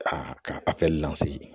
Aa ka kɛ li lase ye